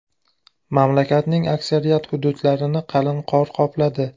Mamlakatning aksariyat hududlarini qalin qor qopladi.